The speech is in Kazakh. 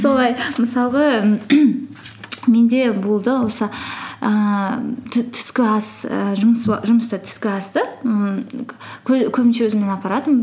солай мысалға менде болды осы ііі түскі ас ііі жұмыста түскі асты ммм өзіммен апаратынмын